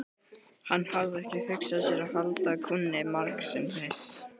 Hann hafði ekki hugsað sér að halda kúnni margsinnis.